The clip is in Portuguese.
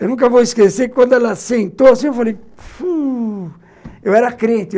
Eu nunca vou esquecer que quando ela sentou assim, eu falei... Eu era crente.